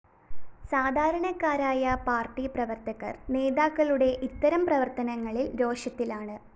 സാധാരണക്കാരായ പാര്‍ട്ടി പ്രവര്‍ത്തകര്‍ നേതാക്കളുടെ ഇത്തരം പ്രവര്‍ത്തനങ്ങളില്‍ രോഷത്തിലാണ്